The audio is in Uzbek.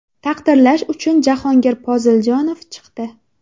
Taqdirlash uchun Jahongir Poziljonov chiqdi.